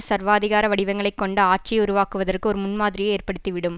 சர்வாதிகார வடிவங்களை கொண்ட ஆட்சியை உருவாக்குவதற்கு ஒரு முன்மாதிரியை ஏற்படுத்திவிடும்